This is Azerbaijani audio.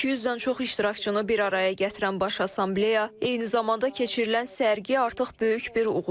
200-dən çox iştirakçını bir araya gətirən baş assambleya, eyni zamanda keçirilən sərgi artıq böyük bir uğurdur.